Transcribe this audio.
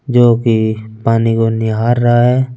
जो भी पानी को निहार रहा है ।